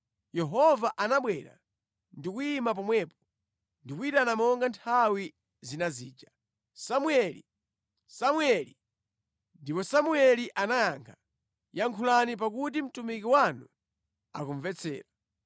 Yehova anabwera ndi kuyima pomwepo, ndi kuyitana monga nthawi zina zija, “Samueli! Samueli!” Ndipo Samueli anayankha, “Yankhulani, pakuti mtumiki wanu akumvetsera.”